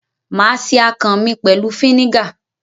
Mà á se akàn mi pẹ̀lú fínígà.